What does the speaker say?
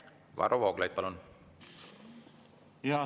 Varro Vooglaid, palun!